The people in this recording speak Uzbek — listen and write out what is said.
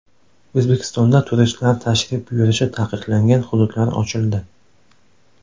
O‘zbekistonda turistlar tashrif buyurishi taqiqlangan hududlar ochildi.